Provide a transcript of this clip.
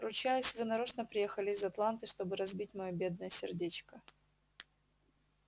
ручаюсь вы нарочно приехали из атланты чтобы разбить моё бедное сердечко